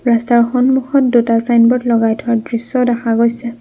ৰাস্তাৰ সন্মুখত দুটা ছাইনবোৰ্ড লগাই থোৱা দৃশ্য দেখা গৈছে।